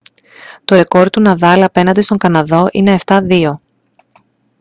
το ρεκόρ του ναδάλ απέναντι στον καναδό είναι 7-2